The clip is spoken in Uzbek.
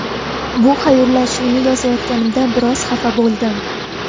Bu xayrlashuvni yozayotganimda biroz xafa bo‘ldim.